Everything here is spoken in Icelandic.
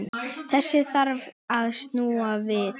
Þessu þarf að snúa við.